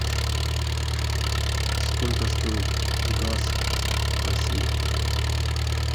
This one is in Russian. сколько стоит газ в россии